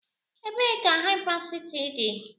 Ebee ka Hypercity dị?